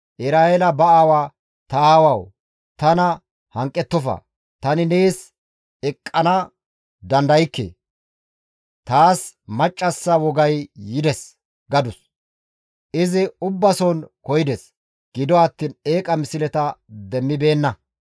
Eraheela ba aawa, «Ta aawawu! Tana hanqettofa; tani nees eqqana dandaykke; taas maccassa wogay yides» gadus. Izi ubbason koyides; gido attiin eeqa misleta demmibeenna.